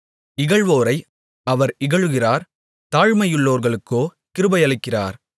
இகழ்வோரை அவர் இகழுகிறார் தாழ்மையுள்ளவர்களுக்கோ கிருபையளிக்கிறார்